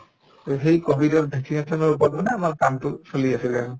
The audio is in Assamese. to সেই কভিডৰ vaccination ৰ ওপৰত মানে আমাৰ কামটো চলি আছিলে আৰু